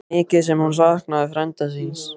Mikið sem hún saknaði frænda síns.